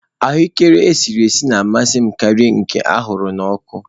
Ahuekere esiri esi na-amasị m karịa nke a ṅara n'ọkụ.